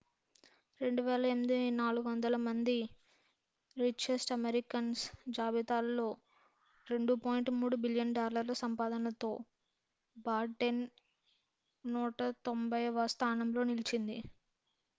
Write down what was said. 2008 400 మంది richest Americans జాబితాలో 2.3 billion డాలర్ల సంపాదనతో బాటెన్ 190వ స్థానంలో నిలిచింది